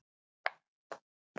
Ég beygi mig yfir hana.